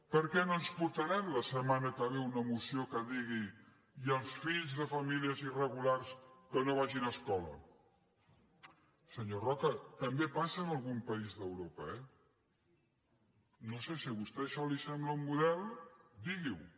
per què no ens portaran la setmana que ve una moció que digui i els fills de famílies irregulars que no vagin a escola senyor roca també passa en algun país d’europa eh no ho sé si a vostè això li sembla un model digui ho